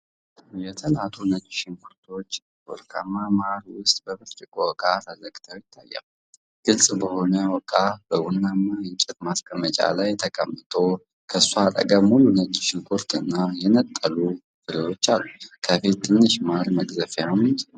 የተላጡ ነጭ ሽንኩርቶች በወርቃማ ማር ውስጥ በብርጭቆ ዕቃ ተዘግተው ይታያሉ። ግልጽ የሆነው ዕቃ በቡናማ የእንጨት ማስቀመጫ ላይ ተቀምጦ፤ ከእሱ አጠገብ ሙሉ ነጭ ሽንኩርትና የነጠሉ ፍሬዎች አሉ። ከፊት ትንሽ ማር መቅዘፊያም ተቀምጧል።